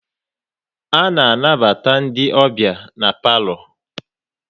A na anabata ndị ọbịa n'palo